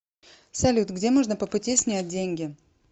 салют где можно по пути снять деньги